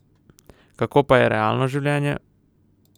Kako pa je realno življenje?